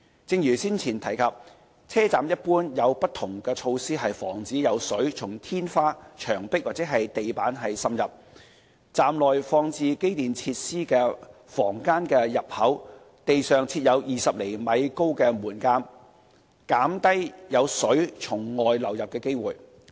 正如上文提及，車站一般有不同措施防止有水從天花、牆壁或地板滲入；站內放置機電設施的房間的入口地上設有20厘米高的門檻，減低有水從外流入的機會。